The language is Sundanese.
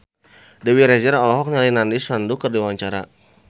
Dewi Rezer olohok ningali Nandish Sandhu keur diwawancara